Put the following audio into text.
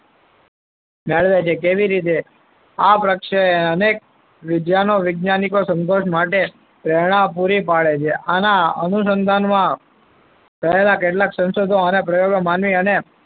મેળવે છે કેવી રીતે આ પક્ષાની રીતે વિદ્યાનો વિજ્ઞાનિકો સંતોષ માટે પ્રેરણા પૂરી પાડે છે. આના અનુસંધાનમાં કરેલા કેટલાક સંશોધનો પ્રયોગો માનવી અને,